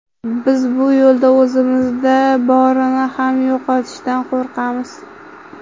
Biz bu yo‘lda o‘zimizda borini ham yo‘qotishdan qo‘rqamiz.